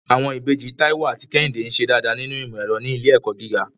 Àwọn ìbejì Táíwò àti Kẹ́hìndé ń ṣe dáadáa nínú ìmọ̀ ẹ̀rọ ní ilé ẹ̀kọ́ gíga.